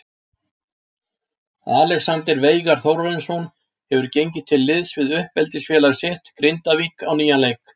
Alexander Veigar Þórarinsson hefur gengið til liðs við uppeldisfélag sitt Grindavík á nýjan leik.